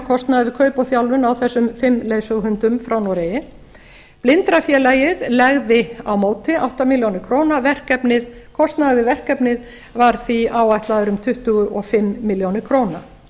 kostnaði við kaup og þjálfun á þessum fimm leiðsöguhundum frá noregi blindrafélagið legði á móti átta milljónir króna kostnaður við verkefnið var því áætlaður um tuttugu og fimm milljónir króna